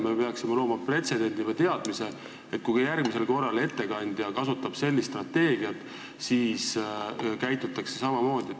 Me peaksime looma pretsedendi või teadmise, et kui järgmisel korral ettekandja kasutab sellist strateegiat, siis käitutakse samamoodi.